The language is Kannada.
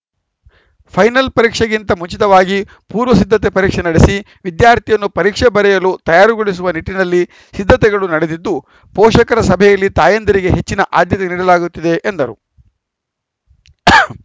ಫೈನಲ್‌ ಪರೀಕ್ಷೆಗಿಂತ ಮುಂಚಿತವಾಗಿ ಪೂರ್ವಸಿದ್ಧತೆ ಪರೀಕ್ಷೆ ನಡೆಸಿ ವಿದ್ಯಾರ್ಥಿಯನ್ನು ಪರೀಕ್ಷೆ ಬರೆಯಲು ತಯಾರುಗೊಳಿಸುವ ನಿಟ್ಟಿನಲ್ಲಿ ಸಿದ್ಧತೆಗಳು ನಡೆದಿದ್ದು ಪೋಷಕರ ಸಭೆಯಲ್ಲಿ ತಾಯಂದಿರಿಗೆ ಹೆಚ್ಚಿನ ಆದ್ಯತೆ ನೀಡಲಾಗುತ್ತಿದೆ ಎಂದರು